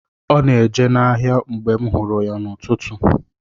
Ọ na-eje n’ahịa mgbe m hụrụ ya n’ụtụtụ.